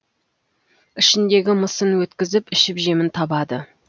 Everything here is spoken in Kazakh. ішіндегі мысын өткізіп ішіп жемін табады